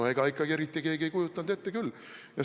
No ega ikka eriti keegi ei kujutanud ette küll!